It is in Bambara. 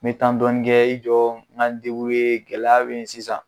Me dɔɔni kɛ, i jɔ, n ka n gɛlɛya bɛ yen sisan.